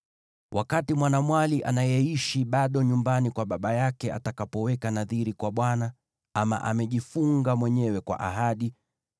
“Wakati mwanamwali anayeishi bado nyumbani kwa baba yake atakapoweka nadhiri kwa Bwana , ama amejifunga mwenyewe kwa ahadi,